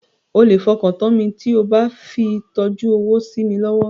O lè fọkàntán mi tí o bá fi tọ́jú owó sí mi lọ́wọ́.